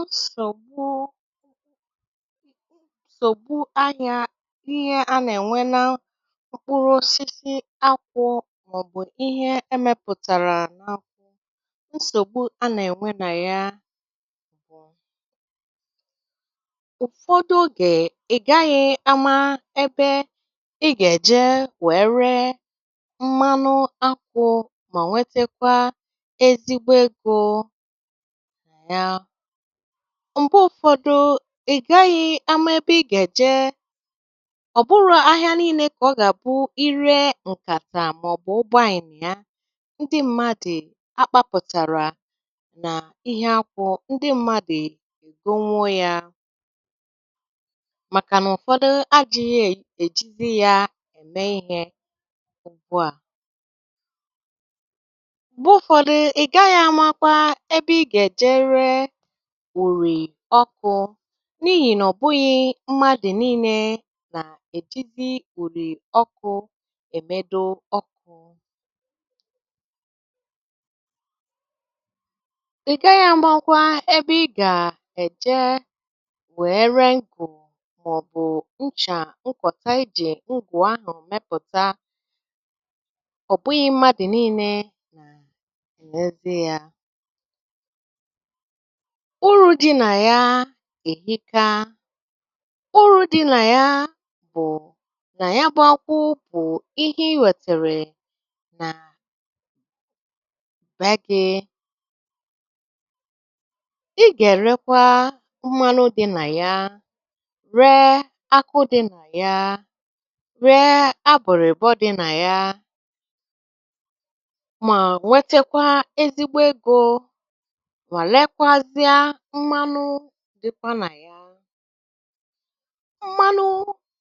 Nsogbu nsogbu anya bụ ihe a na-enweta na mkpụrụ akwụ́ maọbụ ihe e mepụtara n'akwụ nsogbu a na-enwe na ya. Ụfọdụ oge, ị gaghị ama ebe ị ga-eje wee ree mmanụ akwụ́ ma nwetakwa ezigbo ego na ya. Mgbe ụfọdụ, ị gaghị ama ebe ị ga-eje. Ọ bụrọ ahịa niile ka ọ ga-abụ ị ree nkàtà maọbụ ndị mmadụ a kpapụtara na ihe akwụ́, ndị mmadụ egonwuo ya makana ụfọdụ adịghị ejizi ya eme ihe ugbua. Mgbe ụfọdụ, ị gaghị amakwa ebe ị ga-eje ree ùrì ọ́kụ n'ihi na ọ bụghị mmadụ niile na-ejizi ùrì ọkụ emedo ọkụ. Ị gaghị amakwa ebe ị ga-eje wee ree ngù maọbụ nchà nkọta e ji ngù ahụ mepụta. Ọ bụghị mmadụ niile na-erezị ya. Úru dị na ya erika. Úru dị na ya bụ na ya bụ ákwụ́ bụ ihe iwetere na be gị, ị ga-erekwa mmanụ dị na ya, ree ákwụ́ dị na ya, ree ábụ̀rị̀bọ́ dị na ya, nwetekwa ezigbo ego, ma rekwûazị mmanụ dị na ya. Mmanụ